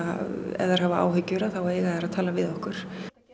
ef þær hafa áhyggjur þá eiga þær að tala við okkur